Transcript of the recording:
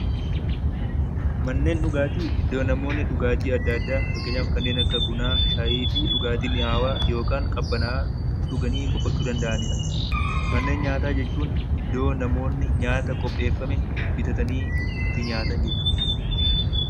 Manneen dhugaatii iddoo namoonni dhugaatii adda addaa fakkeenyaaf kanneen akka bunaa shayii fi dhugaatii mi'aawwaa yookaan qabbanaa'aa dhuganii boqochuu danda'anidha. Manneen nyaataa jechuun iddoo namoonni nyaata qopheeffame bitatanii itti nyaatan jechuudha.